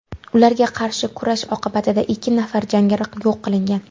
Ularga qarshi kurash oqibatida ikki nafar jangari yo‘q qilingan.